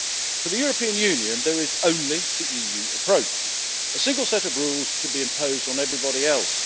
For the European Union there is only the EU approach a single set of rules to be imposed on everybody else.